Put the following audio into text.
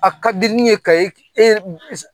A ka di ni ye ka e